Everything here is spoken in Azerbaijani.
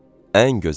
Ən gözəl.